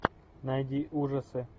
найди ужасы